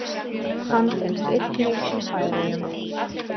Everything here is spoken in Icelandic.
Hann finnst einnig í Færeyjum.